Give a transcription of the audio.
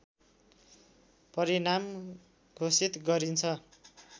परिणाम घोषित गरिन्छ